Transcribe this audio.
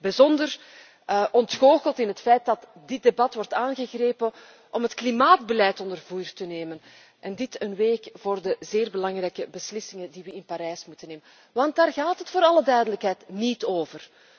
Ik ben bijzonder ontgoocheld over het feit dat dit debat wordt aangegrepen om het klimaatbeleid onder vuur te nemen en dit een week voor de zeer belangrijke beslissingen die we in Parijs moeten nemen. Want daar gaat het voor alle duidelijkheid niet over.